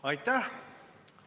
Aitäh!